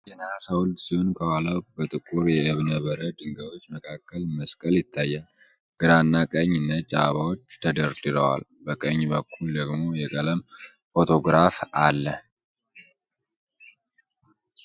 የነሃስ ሐውልት ሲሆን ከኋላው በጥቁር የእብነ በረድ ድንጋዮች መካከል መስቀል ይታያል። ግራና ቀኝ ነጭ አበባዎች ተደርድረዋል፡፡ በቀኝ በኩል ደግሞ የቀለም ፎቶግራፍ አለ።